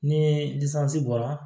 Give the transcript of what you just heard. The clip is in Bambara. Ni bɔra